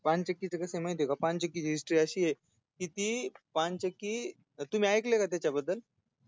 पानचक्कीच कसय माहितीय का पानचक्कीची history अशीय की पानचक्की तुम्ही ऐकलय का त्याच्याबद्दल